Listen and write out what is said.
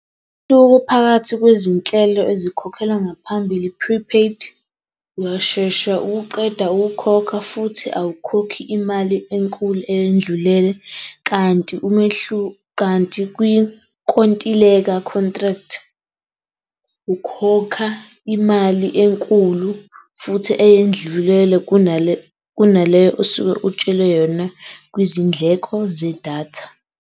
phakathi kwezinhlelo ezikhokhelwa ngaphambili Prepaid, uyashesha uqeda ukukhokha futhi awukhokhi imali enkulu eyendlulele kanti umehluko kanti kwinkontileka Contract, ukhokha imali enkulu futhi eyendlulele kunale kunaleyo osuke utshelwe yona kwizindleko zedatha.